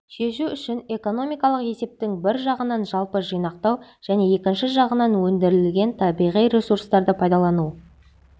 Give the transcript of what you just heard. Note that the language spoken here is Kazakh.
шешу үшін экономикалық есептің бір жағынан жалпы жинақтау және екінші жағынан өндірілген табиғи ресурстарды пайдалану